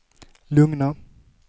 lugna